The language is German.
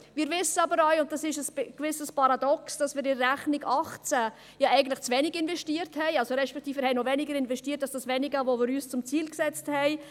Wir wissen aber auch – und dies ist ein gewisses Paradox –, dass wir mit der Rechnung 2018 eigentlich zu wenig investierten, respektive investierten wir noch weniger als das Wenige, welches wir uns zum Ziel gesetzt hatten.